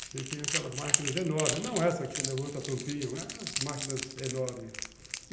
Você tem aquelas máquinas enormes, não essa que você levanta a tampinha, as máquinas enormes.